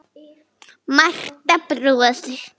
Marta brosir.